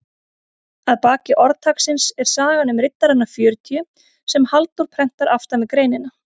Að baki orðtaksins er sagan um riddarana fjörutíu sem Halldór prentar aftan við greinina.